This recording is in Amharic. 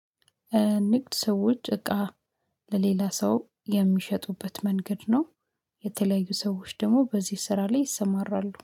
ንግድ ሰዎች እቃ ለሌላ ሰው የሚሸጡበት መንገድ ነው፤። የተለያዩ ሰዎች ደግሞ በዚህ ስራ ላይ ይሰማራሉ